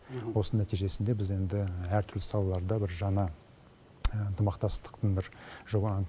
осының нәтижесінде біз енді әртүрлі салаларда бір жаңа ынтымақтастықтың бір жоба